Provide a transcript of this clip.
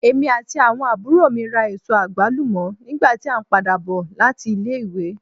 Èmí ati awọn àbúrò mi rá èsó agbalumo nígbà ti a n pàdà bò láti ilé ìwé.